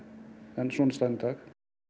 en svona er staðan í dag